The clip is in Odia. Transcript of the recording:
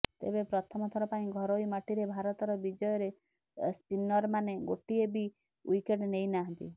ତେବେ ପ୍ରଥମଥର ପାଇଁ ଘରୋଇ ମାଟିରେ ଭାରତର ବିଜୟରେ ସ୍ପିନରମାନେ ଗୋଟିଏ ବି ୱିକେଟ୍ ନେଇନାହାନ୍ତି